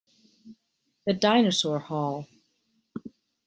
The Dinosaur Hall